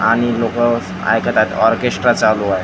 आणि लोकं ऐकत आहेत ऑर्केस्ट्रा चालू आहे .